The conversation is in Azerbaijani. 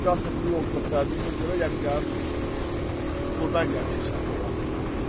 Navigator bu yolu göstərdiyinə görə, yəni gəlib burdan gəlib keçəcəsi oldum.